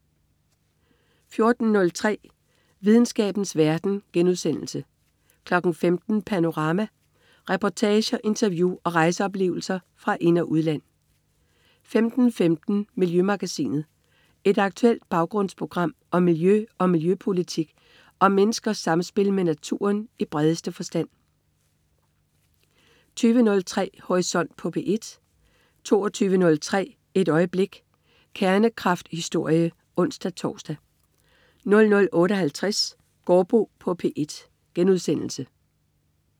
14.03 Videnskabens verden* 15.00 Panorama. Reportager, interview og rejseoplevelser fra ind- og udland 15.15 Miljømagasinet. Et aktuelt baggrundsprogram om miljø og miljøpolitik og om menneskers samspil med naturen i bredeste forstand 20.03 Horisont på P1* 22.03 Et øjeblik. Kernekraftenshistorie (ons-tors) 00.58 Gaardbo på P1*